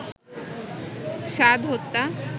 সাদ হত্যা